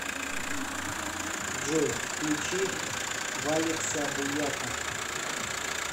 джой включи валекса буяка